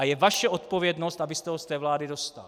A je vaše odpovědnost, abyste ho z té vlády dostal.